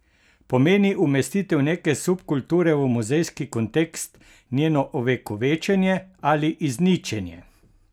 Pomeni umestitev neke subkulture v muzejski kontekst njeno ovekovečenje ali izničenje?